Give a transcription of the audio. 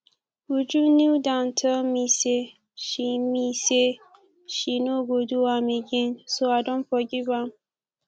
uju kneel down tell me say she me say she no go do am again so i don forgive am